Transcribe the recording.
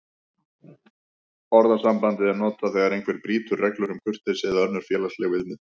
Orðasambandið er notað þegar einhver brýtur reglur um kurteisi eða önnur félagsleg viðmið.